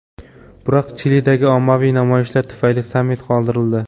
Biroq Chilidagi ommaviy namoyishlar tufayli sammit qoldirildi.